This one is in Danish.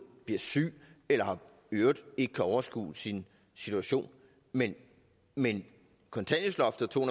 bliver syg eller i øvrigt ikke kan overskue sin situation men men kontanthjælpsloftet og to